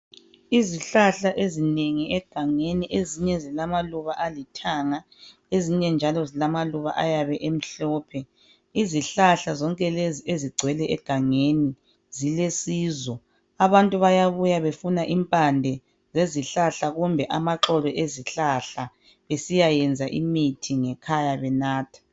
Izihlahla ezinengi egangeni ezinye zilamaluba alithanga ezinye njalo zilamaluba ayabe emhlophe. Izihlahla zonke lezi ezigcwele egangeni zilusizo abantu bayabuya befuna impande yezihlahla kumbe amaxolo ezihlahla besiyayenza imithi ngekhaya banathe.